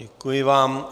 Děkuji vám.